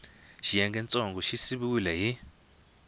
xiyengentsongo xa xi siviwile hi